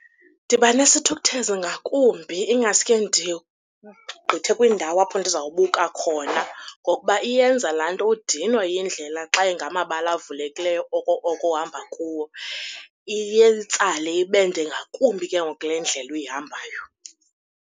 Ndiba nesithukuthezi ngakumbi, ingaske ndiwugqithe kwindawo apho ndizawubuka khona, ngokuba iyenza laa nto udinwe yindlela xa ingamabala avulekileyo oko oko uhamba kuwo. Iyatsala ibe nde ngakumbi ke ngoku le ndlela uyihambayo.